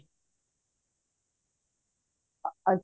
ਅੱਛਾ